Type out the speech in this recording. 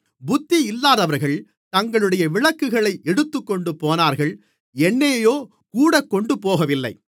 புத்தியில்லாதவர்கள் தங்களுடைய விளக்குகளை எடுத்துக்கொண்டுபோனார்கள் எண்ணெயையோ கூடக்கொண்டுபோகவில்லை